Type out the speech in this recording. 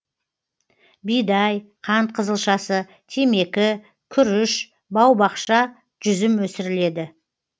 бидай қант қызылшасы темекі күріш бау бақша жүзім өсіріледі